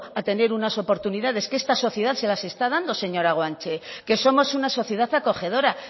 a tener unas oportunidades que esta sociedad se las está dando señora guanche que somos una sociedad acogedora